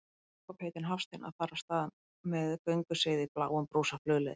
Hér er Jakob heitinn Hafstein að fara af stað með gönguseiði í bláum brúsa flugleiðis.